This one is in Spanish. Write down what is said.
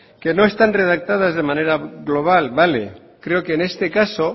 que no están redactadas de manera global vale creo que en este caso